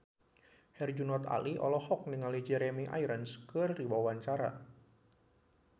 Herjunot Ali olohok ningali Jeremy Irons keur diwawancara